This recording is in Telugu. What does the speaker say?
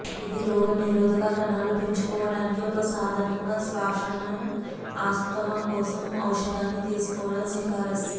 ఇది రోగనిరోధక కణాలు పెంచుకోవటానికి ఒక సాధనంగా శ్వాసను ఆస్త్మా కోసం ఔషధాన్ని తీసుకోవడం సిఫార్సు